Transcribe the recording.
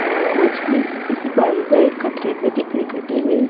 अह मछली किसी बारीक बारीक में दिख रही कटी हुई।